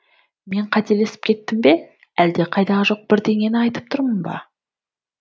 мен қателесіп кеттім бе әлде қайдағы жоқ бірдеңені айтып тұрмын ба